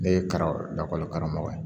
Ne ye karamɔgɔ lakɔli karamɔgɔ ye